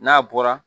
N'a bɔra